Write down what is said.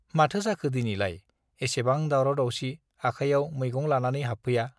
माथो जाखो दिनैलाय एसेबां दावराव दावसि आखायाव मैगं लानानै हाबफैया